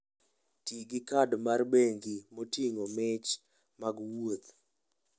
Ti gi kad mar bengi moting'o mich mag wuoth.